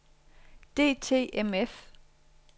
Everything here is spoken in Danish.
DTMF